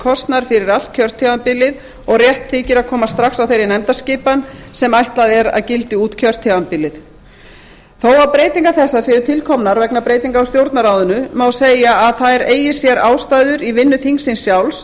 kosnar fyrir allt kjörtímabilið og rétt þykir að koma strax á þeirri nefndaskipan sem ætlað er að gildi út kjörtímabilið þó að breytingar þessar séu til komnar vegna breytinga á stjórnarráðinu má segja að þær eigi sér ástæður í vinnu þingsins sjálfs